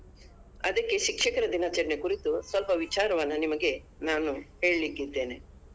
ಅದಕ್ಕೆ ಶಿಕ್ಷಕರ ದಿನಾಚರಣೆ ಕುರಿತು ಸ್ವಲ್ಪ ವಿಚಾರವನ್ನ ನಿಮಗೆ ನಾನು ಹೇಳಿಕ್ಕೆ ಇದ್ದೇನೆ.